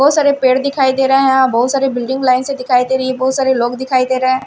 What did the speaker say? बहुत सारे पेड़ दिखाई दे रहे हैं बहुत सारे बिल्डिंग लाइन से दिखाई दे रही है बहुत सारे लोग दिखाई दे रहे --